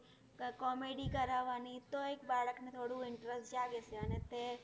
comedy કરવાની તો એક બાળકને થોડું interest જાગે છે અને તે